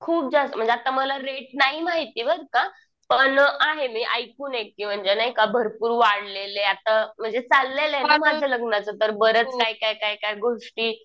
खूप जास्त. म्हणजे आता मला रेट नाही माहिती बर का. पण आहे मी ऐकून अगदी नाही का भरपूर वाढलेलेत. आता म्हणजे चाललंय ना माझ्या लग्नाचं तर बरंच काय काय काय काय गोष्टी